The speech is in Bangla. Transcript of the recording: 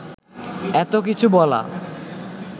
এত কিছু বলা